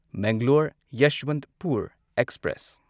Mangalore Yesvantpur express